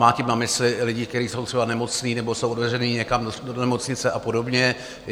Má tím na mysli lidi, kteří jsou třeba nemocní nebo jsou odvezeni někam do nemocnice a podobně.